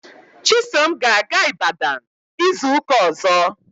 Chisom ga-aga Ibadan izu ụka ọzọ.